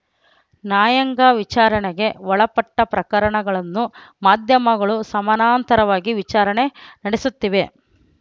ನ್ಯಾಯಾಂಗ ವಿಚಾರಣೆಗೆ ಒಳಪಟ್ಟಪ್ರಕರಣಗಳನ್ನು ಮಾಧ್ಯಮಗಳು ಸಮಾನಾಂತರವಾಗಿ ವಿಚಾರಣೆ ನಡೆಸುತ್ತಿವೆ